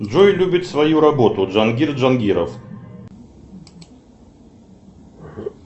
джой любит свою работу джангир джангиров